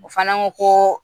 O fana ko ko